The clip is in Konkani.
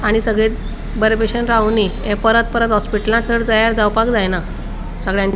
आणि सगळे बरे बशेन रावनी ये परत परत हॉस्पिटलाक जावपाक जैना सगळ्यांनी.